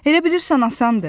Elə bilirsən asandır?